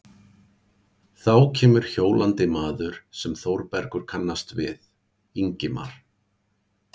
Þá kemur hjólandi maður sem Þórbergur kannast við, Ingimar